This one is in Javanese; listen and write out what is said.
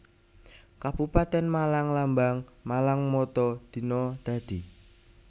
Kabupatèn MalangLambang MalangMotto Dina Dadi